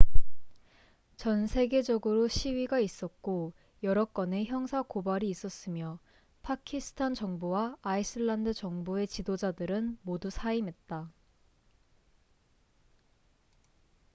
전 세계적으로 시위가 있었고 여러 건의 형사 고발이 있었으며 파키스탄 정부와 아이슬란드 정부의 지도자들은 모두 사임했다